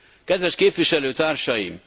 Kedves képviselőtársaim!